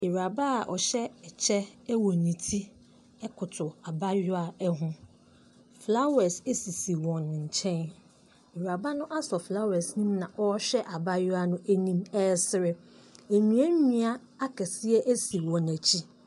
Ewuraba a ɔhyɛ ɛkyɛ ɛwɔ ne ti ɛkoto abayewa ɛho. Flawɛs asisi wɔn nkyɛn. Ewuraba no asɔ flawɛs ne mu na ɔhwɛ abayewa no nim ɛsere. Nnua nnua akɛse asi wɔn akyi.